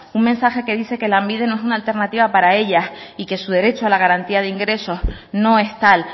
un mensaje que dice que lanbide no es una alternativa para ellas y que su derecho a la garantía de ingresos no es tal